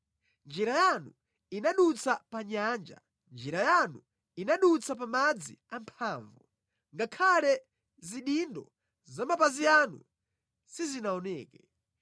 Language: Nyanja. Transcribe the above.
Njira yanu inadutsa pa nyanja, njira yanu inadutsa pa madzi amphamvu, ngakhale zidindo za mapazi anu sizinaoneke.